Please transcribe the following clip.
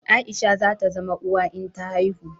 Aisha za ta zama uwa in ta haihu